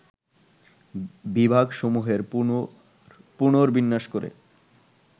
বিভাগসমূহের পুনর্বিন্যাস করে